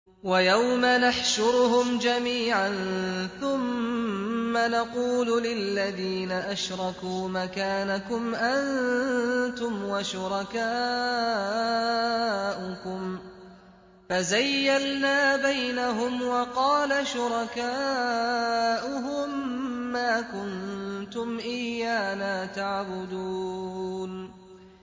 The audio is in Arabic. وَيَوْمَ نَحْشُرُهُمْ جَمِيعًا ثُمَّ نَقُولُ لِلَّذِينَ أَشْرَكُوا مَكَانَكُمْ أَنتُمْ وَشُرَكَاؤُكُمْ ۚ فَزَيَّلْنَا بَيْنَهُمْ ۖ وَقَالَ شُرَكَاؤُهُم مَّا كُنتُمْ إِيَّانَا تَعْبُدُونَ